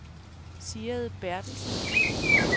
Sigrid Bertelsen